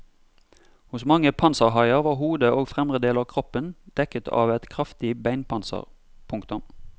Hos mange panserhaier var hodet og fremre del av kroppen dekket av et kraftig beinpanser. punktum